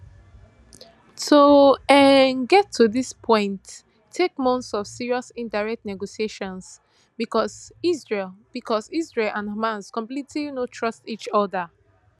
to um get to dis points take months of serious indirect negotiations becos israel becos israel and hamas completely no trust each oda